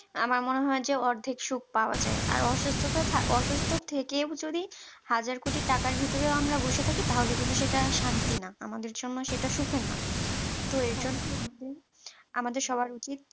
আমার মনে হয় যে অর্ধেক সুখ পাওয়া যায় আর অসুস্থতা অসুস্থ থেকে ও যদি হাজার কোটি টাকার ভিতরেও আমরা বসে থাকি তাহলে কিন্তু সেটা শান্তি না আমাদের জন্য সেটা সুখের না তো এই জন্য আমাদের সবার উচিত